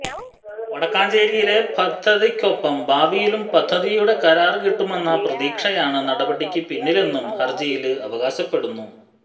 വടക്കാഞ്ചേരിയിലെ പദ്ധതിക്കൊപ്പം ഭാവിയിലും പദ്ധതിയുടെ കരാര് കിട്ടുമെന്ന പ്രതീക്ഷയാണ് നടപടിക്ക് പിന്നിലെന്നും ഹര്ജിയില് അവകാശപ്പെടുന്നു